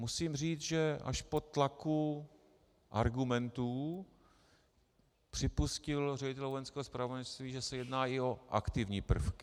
Musím říci, že až po tlaku argumentů připustil ředitel Vojenského zpravodajství, že se jedná i o aktivní prvky.